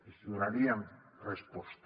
els donaríem resposta